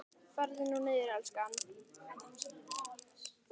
Farðu nú niður, elskan.